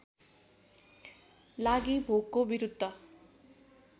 लागि भोकको विरुद्ध